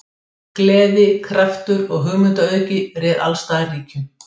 Gleði, kraftur og hugmyndaauðgi réð alls staðar ríkjum.